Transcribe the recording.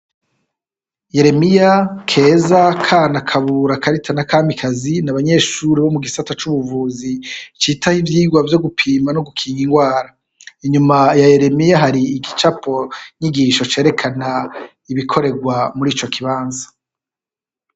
Yeremiya, Keza, Kana, Kabura ,Karita na Kamikazi n'abanyeshuri bo mu gisata c'ubuvuzi citaho ivyigwa vyo gupima no gukinga ingwara. Inyuma ya Yeremiya hari igicapo nyigisho cerekana ibikorerwa mur'ico kibanza.